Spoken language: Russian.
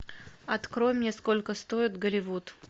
открой мне сколько стоит голливуд